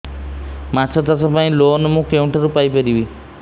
ମାଛ ଚାଷ ପାଇଁ ଲୋନ୍ ମୁଁ କେଉଁଠାରୁ ପାଇପାରିବି